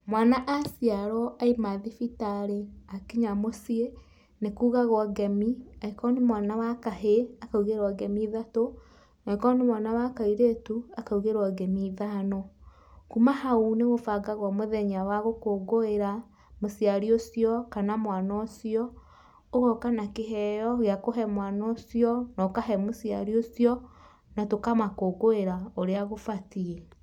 Mwana aciarwo aima thibitarĩ akinya mũciĩ nĩkugagwo ngemi, angĩkorwo nĩ mwana wa kahĩ akaũgĩrwa ngemi ithatũ, angĩkorwo nĩ mwana wa kairĩtu akaũgĩrwe ngemi ithano. Kuuma hau nĩkũbangagwo mũthenya wa gũkũngũĩra mũciari ũcio, mwana ũcio ũgonga na kĩheo gĩa kũhe mwana ũcio na ũkahe mũciari ũcio na tũkamakũngũĩra ũrĩa kũbatiĩ.